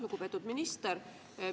Lugupeetud minister!